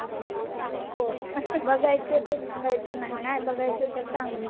नको बघायचंय तर सांगायचं नाही. नाही बघायचं तर सांगून टाक.